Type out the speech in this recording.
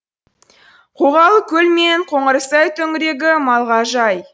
қоғалыкөл мен қоңырсай төңірегі малға жай